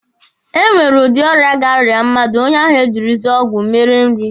E nwere udi ọrịa ga-arịa mmadụ, onye ahụ e jirizie ọgwụ mere nrị.